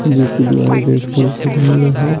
जिसकी दीवारें red colour से रंगी गई है।